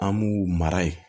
An b'u mara yen